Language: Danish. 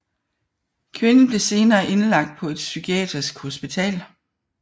Kvinden blev senere indlagt på et psykiatrisk hospital